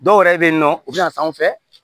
Dɔw yɛrɛ bɛ yen nɔ u bɛ na sanfɛ